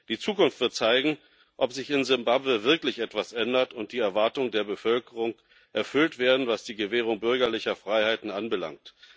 Die Zukunft wird zeigen, ob sich in Simbabwe wirklich etwas ändert und die Erwartungen der Bevölkerung erfüllt werden, was die Gewährung bürgerlicher Freiheiten anbelangt.